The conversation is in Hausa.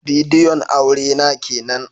Bidiyon aure na kenan